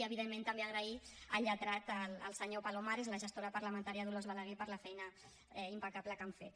i evidentment també donar les gràcies al lletrat al senyor palomares i a la gestora parlamentària dolors balaguer per la feina impecable que han fet